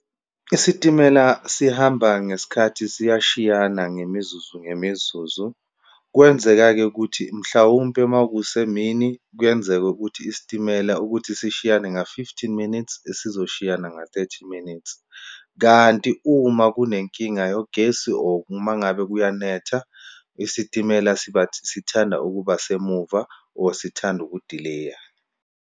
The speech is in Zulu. Isitimela sihamba ngesikhathi siyashiyana, ngemizuzu ngemizuzu. Kwenzeka-ke ukuthi, mhlawumpe uma kusemini kuyenzeka ukuthi isitimela ukuthi sishiyane nga-fifteen minutes, sizoshiyana nga-thirty minutes. Kanti uma kunenkinga yogesi or uma ngabe kuyanetha, isitimela siba sithanda ukuba semuva, or sithanda uku-delay-a.